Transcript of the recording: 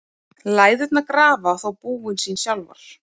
Læðurnar grafa þó búin sín sjálfar.